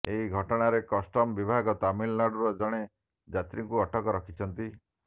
ଏହି ଘଟଣାରେ କଷ୍ଟମ ବିଭାଗ ତାମିଲନାଡୁର ଜଣେ ଯାତ୍ରୀଙ୍କୁ ଅଟକ ରଖିଛି